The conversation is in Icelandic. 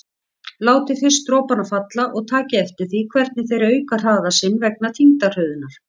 Látið fyrst dropana falla og takið eftir því hvernig þeir auka hraða sinn vegna þyngdarhröðunar.